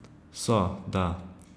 So, da.